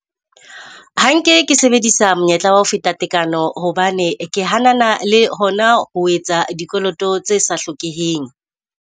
Ha nke ke sebedisa monyetla wa ho feta tekano, hobane ke hanana le hona ho etsa dikoloto tse sa hlokeheng.